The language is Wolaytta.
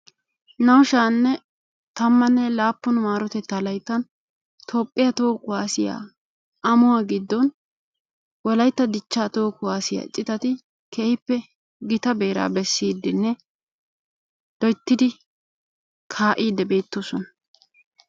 Naa''u shaa'anne tammanne laappun marotetta laytta Toophiyaa toho kuwaassiya amo giddon wolaytta dichcha toho kuwassiya citatti keehippe gita beera bessidenne loyttidi kaa'ide beettoosona.